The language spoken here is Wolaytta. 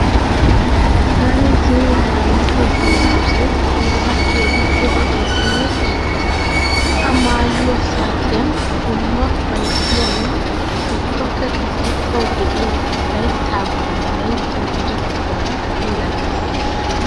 Taani zino maayido dungguzay tanaara keehippe lo'eesinne giigees. A maayiyo saatiyan dumma ufayissayinne ubbakka qassi tawu de'iya layttaa bolli layittayi gujettidabaa milatees.